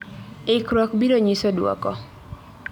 Ikruok biro nyiso duoko